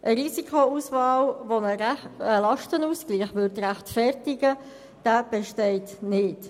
Eine Risikoauswahl, die einen Lastenausgleich rechtfertigen würde, besteht nicht.